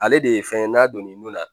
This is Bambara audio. Ale de ye fɛn ye n'a donn'e nun na